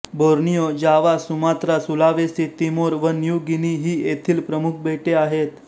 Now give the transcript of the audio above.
Borneo Java Sumatra Sulawesi Timor व New Guinea ही येथील प्रमुख बेटे आहेत